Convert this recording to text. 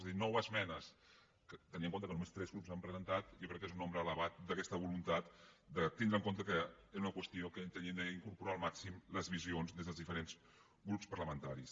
és a dir nou esmenes tenint en compte que només tres grups n’han presentat jo crec que és un nombre elevat d’aquesta voluntat de tindre en compte que era una qüestió en què teníem d’incorporar al màxim les visions des dels diferents grups parlamentaris